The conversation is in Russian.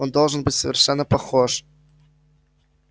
он должен быть совершенно похож